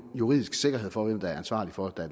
juridisk sikkerhed for hvem der er ansvarlig for at